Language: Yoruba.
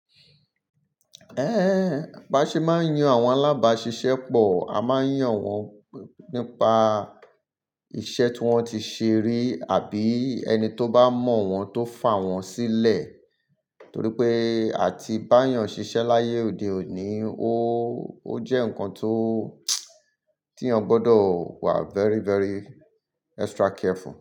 Ẹ́, bá ṣe máa ń yan àwọn alábàáṣiṣẹ́ pọ̀, a máa ń yàn wọ́n nípa iṣẹ́ tí wọ́n ti ṣe rí àbí ẹni tó bá mọ̀ wọ́n tó fà wọ́n sílẹ̀. Torí pé àti bá yàn ṣiṣẹ́ láyé òde òní, ó jẹ́ nǹkan ti èèyàn gbọdọ̀ wà very, very extra careful.